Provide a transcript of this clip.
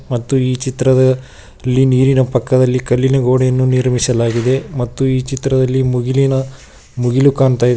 ಮತ್ತು ಈ ಚಿತ್ರದ ಇಲ್ಲಿ ನೀರಿನ ಪಕ್ಕದಲ್ಲಿ ಕಲ್ಲಿನ ಗೋಡೆಯನ್ನು ನಿರ್ಮಿಸಲಾಗಿದೆ ಮತ್ತು ಈ ಚಿತ್ರದಲ್ಲಿ ಮುಗಿಲಿನ ಮುಗಿಲು ಕಾಣ್ತಾ ಇದೆ.